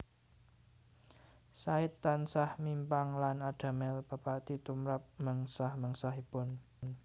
Said tansah mimpang lan adamel pepati tumrap mengsah mengsahipun